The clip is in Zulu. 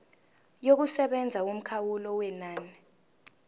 yokusebenza yomkhawulo wenani